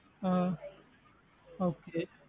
அஹ் okay